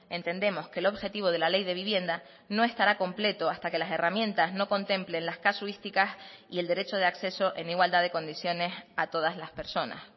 entendemos que el objetivo de la ley de vivienda no estará completo hasta que las herramientas no contemplen las casuísticas y el derecho de acceso en igualdad de condiciones a todas las personas